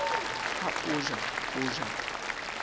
ha o ja ho ja